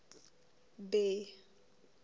bay